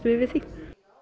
við við því